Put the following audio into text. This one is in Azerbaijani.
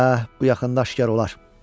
Əh, bu yaxında aşkar olar.